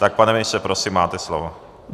Tak pane ministře, prosím, máte slovo.